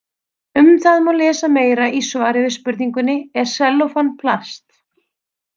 Um það má lesa meira í svari við spurningunni Er sellófan plast?